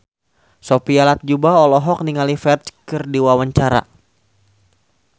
Sophia Latjuba olohok ningali Ferdge keur diwawancara